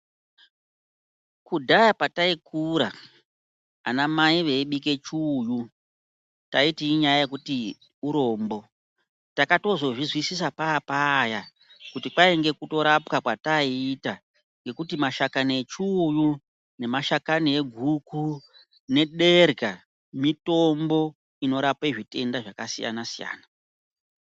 Kudhaya pataikura ana mai veibike chiuyu taiti inyaya yekuti urombo, takatozozvizwisisa paapaya kuti kwainge kutorapwa kwataiita, ngekuti mashakani echiuyu nemashakani eguku nederhya mitombo inorape zvitenda zvakasiyana-siyana.